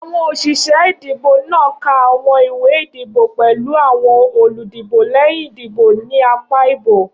Awọn oṣiṣẹ idibo naa ka awọn iwe idibo pẹlu awọn oludibo lẹhin idibo ni apa ibo.